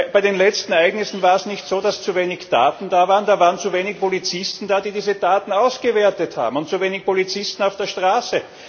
Bei den letzten Ereignissen war es nicht so, dass zu wenig Daten da waren, da waren zu wenig Polizisten da, die diese Daten ausgewertet haben, und zu wenig Polizisten auf der Straße.